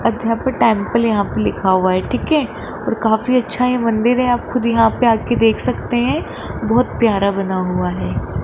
अध्या पे टेंपल यहां पे लिखा हुआ है ठीक है और काफी अच्छा ये मंदिर है आप खुद यहां पे आके देख सकते हैं बहोत प्यारा बना हुआ है।